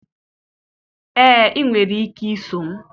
ee, ị nwere ike iso m